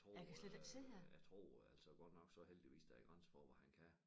Jeg tror øh jeg tror altså godt nok så heldigvis der er grænser for hvad han kan